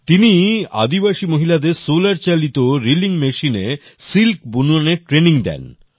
সে আদিবাসী মহিলাদের সোলার চালিত রিলিং মেশিনে সিল্ক বুননের ট্রেইনিং দেয়